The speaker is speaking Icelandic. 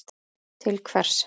til hvers.